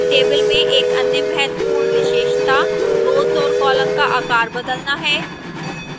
tables में एक अन्य महत्वपूर्ण विशेषता rows और columns का आकार बदलना है